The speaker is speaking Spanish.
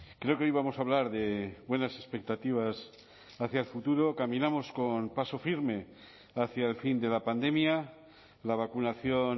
creo que hoy vamos a hablar de buenas expectativas hacia el futuro caminamos con paso firme hacia el fin de la pandemia la vacunación